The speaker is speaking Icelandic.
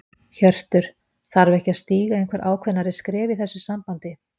Hjörtur: Þarf ekki að stíga einhver ákveðnari skref í þessu sambandi?